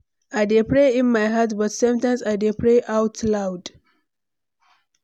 I dey pray in my heart, but sometimes i dey pray out loud.